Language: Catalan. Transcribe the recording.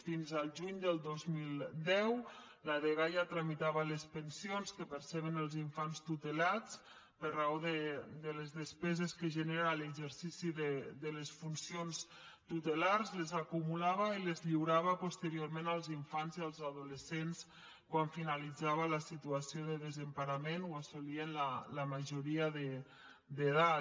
fins al juny del dos mil deu la dgaia tramitava les pensions que perceben els infants tutelats per raó de les despeses que genera l’exercici de les funcions tutelars les acumulava i les lliurava posteriorment als infants i als adolescents quan finalitzava la situació de desemparament o assolien la majoria d’edat